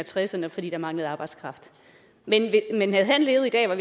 tresserne fordi der manglede arbejdskraft men havde han levet i dag var